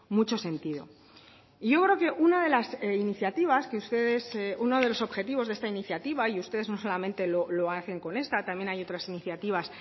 mucho sentido y yo creo que una de las iniciativas que ustedes uno de los objetivos de esta iniciativa y ustedes no solamente lo hacen con esta también hay otras iniciativas